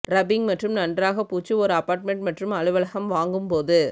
ரபிங் மற்றும் நன்றாக பூச்சு ஒரு அபார்ட்மெண்ட் மற்றும் அலுவலகம் வாங்கும் போது